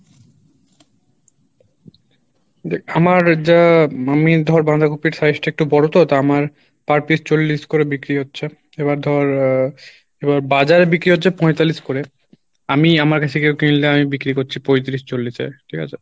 দেখ আমার যা আমি ধর বাঁধাকপির size টা একটু বড়ো তো আমার per piece চল্লিশ করে বিক্রি হচ্ছে এবার ধর আহ এবার বাজারে বিক্রি হচ্ছে পঁয়তাল্লিশ করে আমি আমার বিক্রি করছি পঁয়তিরিশ চল্লিশ এ, ঠিক আছে?